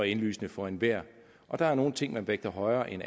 indlysende for enhver og der er nogle ting man vægter højere end